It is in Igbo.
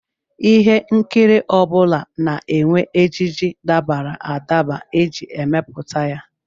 Ihe nkiri ọ bụla na-enwe ejiji dabara adaba e ji emepụta ya